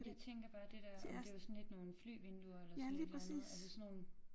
Jeg tænker bare det der om det var sådan lidt nogle flyvinduer eller sådan et eller andet altså sådan nogle